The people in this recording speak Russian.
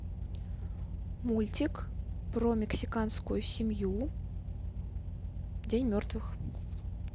мультик про мексиканскую семью день мертвых